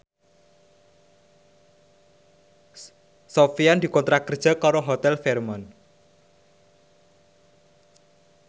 Sofyan dikontrak kerja karo Hotel Fairmont